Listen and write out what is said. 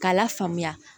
K'a lafaamuya